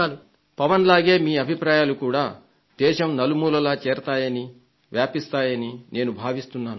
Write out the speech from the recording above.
శ్రీ పవన్ లాగే మీ అభిప్రాయాలు కూడా దేశం నలుమూలలా చేరుతాయని వ్యాపిస్తాయని నేను భావిస్తున్నాను